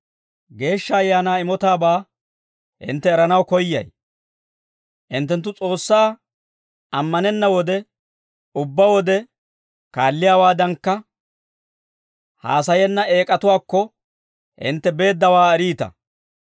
Hinttenttu S'oossaa ammanenna wode, ubbaa wode kaalliyaawaadankka, haasayenna eek'atuwaakko hintte beeddawaa eriita.